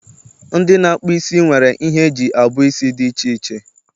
ndị na-akpụ isi nwere ihe eji abuo isi dị iche iche